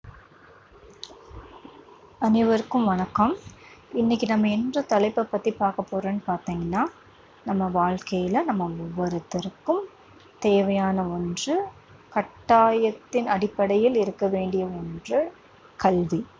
அனைவருக்கும் வணக்கம். இன்னைக்கு நம்ம எந்தத் தலைப்பைப் பற்றிப் பார்க்கப் போறோம்னு பார்த்தீங்கன்னா நம்ம வாழ்க்கையில நம்ம ஒவ்வொருத்தருக்கும் தேவையான ஒன்று, கட்டாயத்தின் அடிப்படையில் இருக்க வேண்டிய ஒன்று கல்வி.